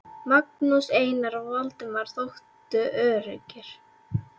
Magnús, Einar og Valdemar þóttu öruggir.